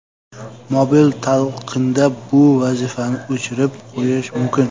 Mobil talqinda bu vazifani o‘chirib qo‘yish mumkin.